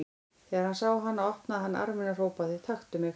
Þegar hann sá hana opnaði hann arminn og hrópaði: Taktu mig!